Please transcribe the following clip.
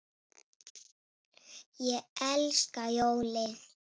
Ég elska jólin!